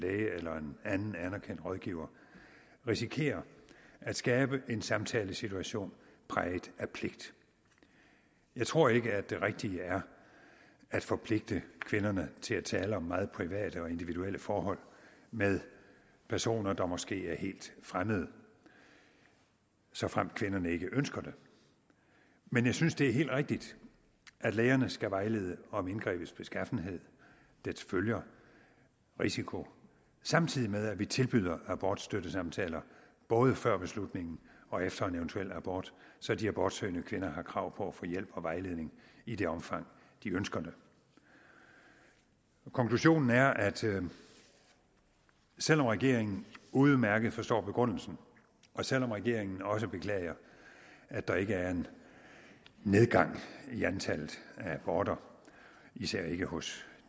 læge eller en anden anerkendt rådgiver risikerer at skabe en samtalesituation præget af pligt jeg tror ikke at det rigtige er at forpligte kvinderne til at tale om meget private og individuelle forhold med personer der måske er helt fremmede såfremt kvinderne ikke ønsker det men jeg synes det er helt rigtigt at lægerne skal vejlede om indgrebets beskaffenhed dets følger og risiko samtidig med at vi tilbyder abortstøttesamtaler både før beslutningen og efter en eventuel abort så de abortsøgende kvinder har krav på at få hjælp og vejledning i det omfang de ønsker det konklusionen er at selv om regeringen udmærket forstår begrundelsen og selv om regeringen også beklager at der ikke er en nedgang i antallet af aborter især ikke hos